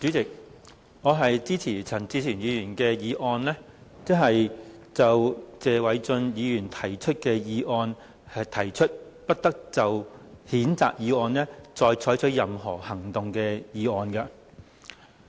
主席，我支持陳志全議員動議"不得就謝偉俊議員動議的譴責議案再採取任何行動"的議案。